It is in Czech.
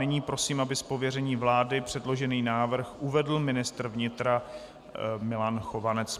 Nyní prosím, aby z pověření vlády předložený návrh uvedl ministr vnitra Milan Chovanec.